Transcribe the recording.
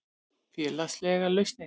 Félagslegar lausnir